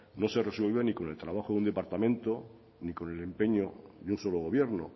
no se resuelve ni con el trabajo de un departamento ni con el empeño de un solo gobierno